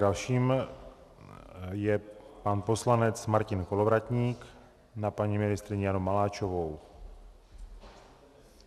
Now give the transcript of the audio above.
Dalším je pan poslanec Martin Kolovratník na paní ministryni Janu Maláčovou.